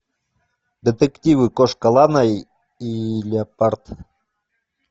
детективы кошка лана и леопард